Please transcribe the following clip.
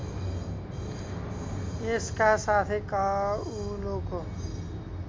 यसका साथै काउलोको